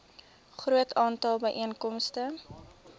groot aantal byeenkomste